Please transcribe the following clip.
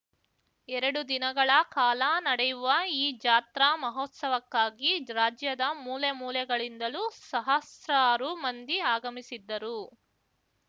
ಎರಡು ದಿನಗಳ ಕಾಲ ನಡೆಯುವ ಈ ಜಾತ್ರಾ ಮಹೋತ್ಸವಕ್ಕಾಗಿ ರಾಜ್ಯದ ಮೂಲೆ ಮೂಲೆಗಳಿಂದಲೂ ಸಹಸ್ರಾರು ಮಂದಿ ಆಗಮಿಸಿದ್ದರು